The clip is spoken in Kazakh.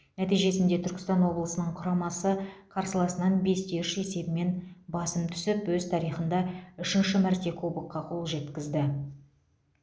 нәтижесінде түркістан облысының құрамасы қарсыласынан бес те үш есебімен басым түсіп өз тарихында үшінші мәрте кубокқа қол жеткізді